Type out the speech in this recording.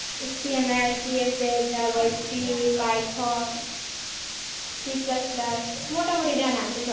HTML, CSS, JAVAscript python Cplus plus মোটামোটি জানা আছে সব